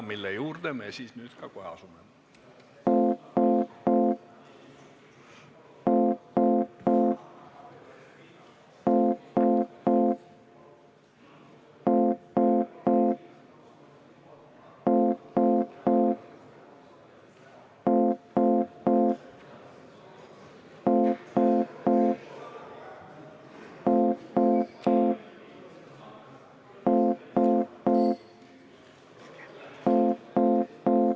Selle juurde me siis nüüd kohe ka asume.